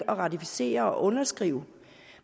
at ratificere og underskrive